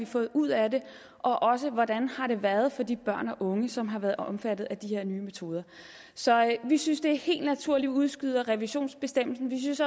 fået ud af det og også hvordan det har været for de børn og unge som har været omfattet af de her nye metoder så vi synes det er helt naturligt at udskyde revisionsbestemmelsen vi synes